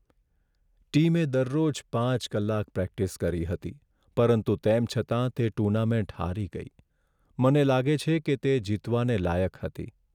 ટીમે દરરોજ પાંચ કલાક પ્રેક્ટિસ કરી હતી પરંતુ તેમ છતાં તે ટુર્નામેન્ટ હારી ગઈ. મને લાગે છે કે તે જીતવાને લાયક હતી.